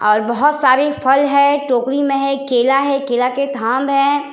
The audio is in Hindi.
और बोहोत सारे फल है टोकरी में है केला है केला के थाम है।